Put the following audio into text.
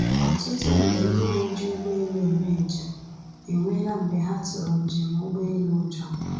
Ọtụtụ nde ndị na-eji ụgbọelu eme njem enwela mgbe ha tụrụ njem ụgbọelu ụjọ.